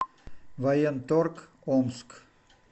военторг омск